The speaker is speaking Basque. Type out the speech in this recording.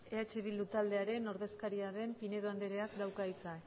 eh bildu taldearen ordezkaria den pinedo andereak dauka hitza